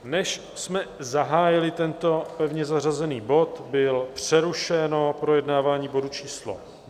Než jsme zahájili tento pevně zařazený bod, bylo přerušeno projednávání bodu číslo